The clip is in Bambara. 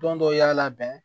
Don dɔw y'a labɛn